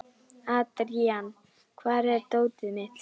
Adrian, hvar er dótið mitt?